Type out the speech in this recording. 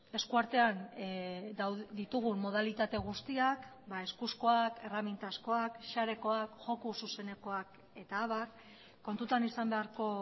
eskuartean ditugun modalitate guztiak eskuzkoak erremintazkoak sarekoak joko zuzenekoak eta abar kontutan izan beharko